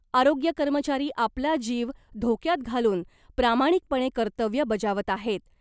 आरोग्य कर्मचारी आपला जीव धोक्यात घालून प्रामाणिकपणे कर्तव्य बजावत आहेत .